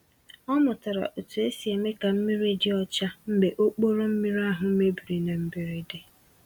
Ọ mụtara otu esi eme ka mmiri dị ọcha mgbe okpòrò mmiri ahụ mebiri na mberede.